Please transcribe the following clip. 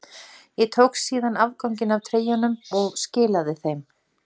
Ég tók síðan afganginn af treyjunum og skilaði þeim.